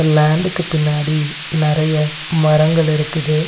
லேண்டுக்கு பின்னாடி நெறைய மரங்கள் இருக்குது.